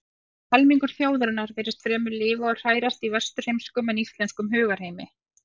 Rífur helmingur þjóðarinnar virtist fremur lifa og hrærast í vesturheimskum en íslenskum hugarheimi.